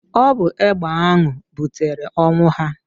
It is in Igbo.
Ọ bụ egbe ahụ butere ọnwụ ha.